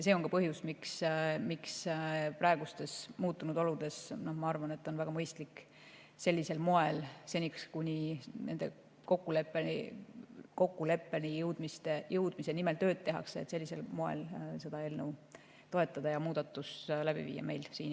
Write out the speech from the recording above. See on ka põhjus, miks ma praegustes muutunud oludes arvan, et on väga mõistlik sellisel moel, seni kuni kokkuleppeni jõudmise nimel tööd tehakse, meil seda eelnõu toetada ja muudatus siin Eestis ellu viia.